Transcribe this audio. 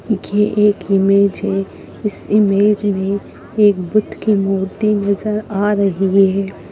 ये एक इमेज है इस इमेज में एक बुद्ध की मूर्ति नजर आ रही है।